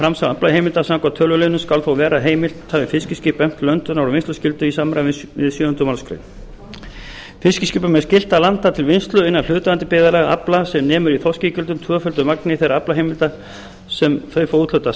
framsal aflaheimilda samkvæmt töluliðnum skal þó vera heimilt hafi fiskiskip efnt löndunar og vinnsluskyldu í samræmi við sjöunda málsgreinar fiskiskipum er skylt að landa til vinnslu innan hlutaðeigandi byggðarlaga afla sem nemur í þorskígildum talið tvöföldu magni þeirra aflaheimilda sem þau fá úthlutað